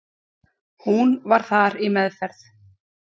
Hún var þar í meðferð.